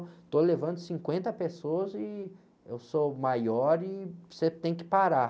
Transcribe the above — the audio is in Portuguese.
Estou levando cinquenta pessoas e eu sou maior e você tem que parar.